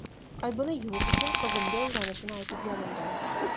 Aybini yuvish uchun qizimga uylanishini aytib yalingandi.